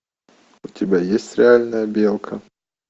у тебя есть реальная белка